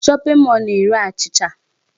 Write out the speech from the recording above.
Shopping male na-ere achịcha.